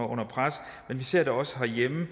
under pres og vi ser det også herhjemme